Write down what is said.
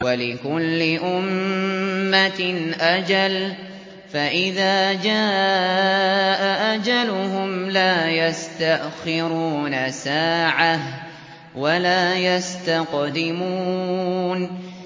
وَلِكُلِّ أُمَّةٍ أَجَلٌ ۖ فَإِذَا جَاءَ أَجَلُهُمْ لَا يَسْتَأْخِرُونَ سَاعَةً ۖ وَلَا يَسْتَقْدِمُونَ